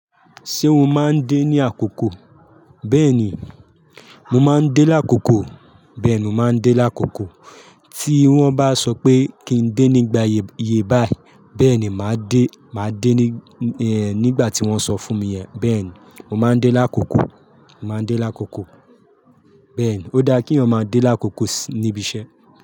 Ṣé o máa ń dé ní àkókò? Bẹ́ẹ̀ni, mo máa ń dé lákòókò. Bẹ́ẹ̀ni, mo máa ń dé lákòókò. Tí wọ́n bá sọ pé kí n dé nígbà iye báyìí, bẹ́ẹ̀ ni màá dé. Màá dé nígbà tí wọ́n sọ fún mi yẹn. Bẹ́ẹ̀ ni, mo máa ń dé lákòókò. Mo má ń dé lákòókò. Bẹ́ẹ̀ ni, ó dáa kéèyàn máa dé lákòókò níbi iṣẹ́